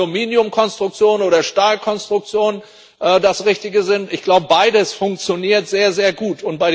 Ob nun Aluminiumkonstruktionen oder Stahlkonstruktionen das Richtige sind ich glaube, beides funktioniert sehr gut.